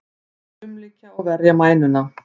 Þeir umlykja og verja mænuna.